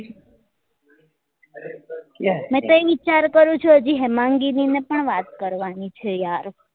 મેં તો ઍ વિચાર કરું છુ હજુ હેમાંગીની ને પણ વાત કરવા ની છે યાર